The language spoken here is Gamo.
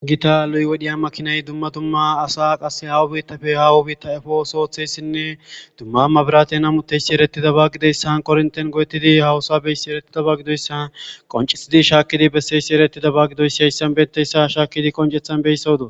Gita lo'i wodhiya makinay dumma dumma asa qasse haaho biittappe haaho biitta efos ooththiyayssinne dumma maburaten hametiyayssi eretidaba gidiyayssan koronten go'ettidi haahosa bizayssi eretidaba gidoysa qonccisidi shaakkidi bessiyays eretidaba gidoys hayssan diyayssa shaakkidi qoncceththan shaakkidi be'ishe doos.